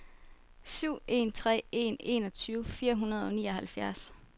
syv en tre en enogtyve fire hundrede og nioghalvfjerds